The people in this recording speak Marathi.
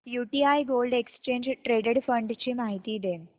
UTI gold exchange traded fund ची माहिती दे